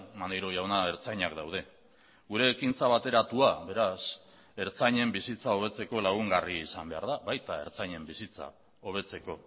maneiro jauna ertzainak daude gure ekintza bateratua beraz ertzainen bizitza hobetzeko lagungarri izan behar da baita ertzainen bizitza hobetzeko